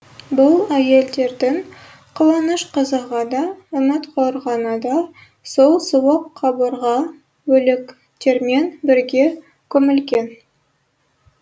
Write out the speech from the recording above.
бұл әйелдердің қуаныш қызығы да үміт қорғаны да сол суық қабырға өліктермен бірге көмілген